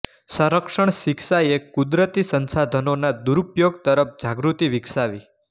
સંરક્ષણ શિક્ષાએ કુદરતી સંસાધનોના દુરુપયોગ તરફ જાગૃતિ વિકસાવી